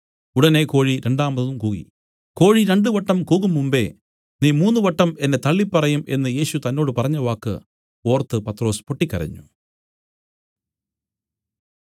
ഉടനെ കോഴി രണ്ടാമതും കൂകി കോഴി രണ്ടുവട്ടം കൂകുംമുമ്പെ നീ മൂന്നുവട്ടം എന്നെ തള്ളിപ്പറയും എന്നു യേശു തന്നോട് പറഞ്ഞവാക്ക് ഓർത്ത് പത്രൊസ് പൊട്ടിക്കരഞ്ഞു